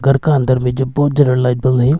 घर का अंदर में बहुत ज्यादा लाइट बल है।